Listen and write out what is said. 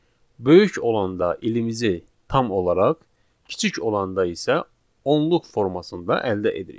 Böyük olanda ilimizi tam olaraq, kiçik olanda isə onluq formasında əldə edirik.